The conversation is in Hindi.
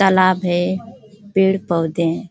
तालाब है। पेड़-पोधे हैं।